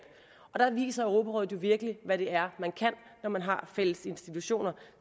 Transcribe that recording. og der viser europarådet jo virkelig hvad det er man kan når man har fælles institutioner